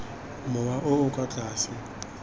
mowa o o kwa tlase